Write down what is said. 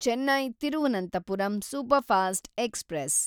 Chennai Thiruvananthapuram superfast express